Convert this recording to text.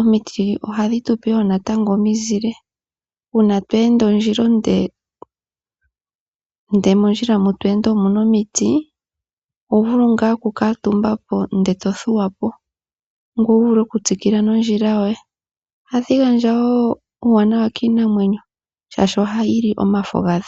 Omiti ohadhi tu pe wo omizile. Uuna to ende ondjila onde, ndele mondjila moka to ende omu na omiti, oho vulu ngaa okukuutumba, ndele to thuwa po ngoye wu vule okutsikila nondjila yoye. Ohadhi gandja wo uuwanawa kiinamwenyo, oshoka ohayi li omafo gadho.